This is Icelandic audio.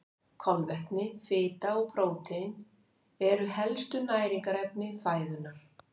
Kolvetni, fita og prótín eru helstu næringarefni fæðunnar.